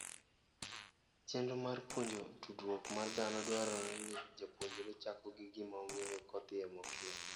Chenro mar puonjo tudruok mar dhano dwaro ni japonjre chako gi gima ong'eyo kodhie mokia.